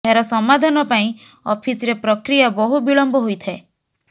ଏହାର ସମାଧାନ ପାଇଁ ଅଫିସରେ ପ୍ରକ୍ରିୟା ବହୁ ବିଳମ୍ବ ହୋଇଥାଏ